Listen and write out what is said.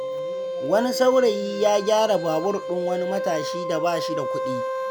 Wani saurayi ya gyara babur ɗin wani matashi da ba shi da kuɗi.